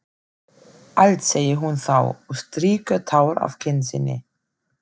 Allt, segir hún þá og strýkur tár af kinn sinni.